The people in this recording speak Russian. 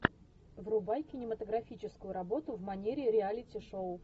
врубай кинематографическую работу в манере реалити шоу